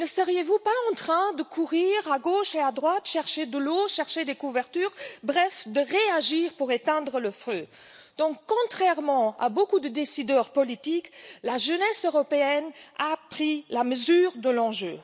Ne seriez vous pas en train de courir à gauche et à droite pour chercher de l'eau, des couvertures, bref, en train de réagir pour éteindre le feu? Alors, contrairement à beaucoup de décideurs politiques, la jeunesse européenne a pris la mesure de l'enjeu.